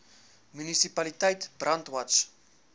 munisipaliteit brandwatch